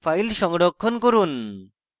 file সংরক্ষণ করুন